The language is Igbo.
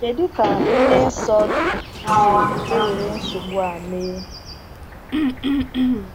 Kedu ka nne Nsọ si ewere nsogbu a mee?